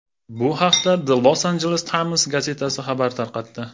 Bu haqda The Los Angeles Times gazetasi xabar tarqatdi.